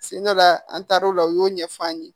Sen dɔ la an taar'o la u y'o ɲɛfɔ an ye